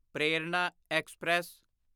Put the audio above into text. ਪ੍ਰੇਰਣਾ ਐਕਸਪ੍ਰੈਸ